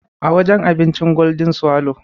A wajen abincin Golden swallow.